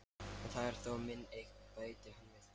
En það er þó mín eign, bætti hann við.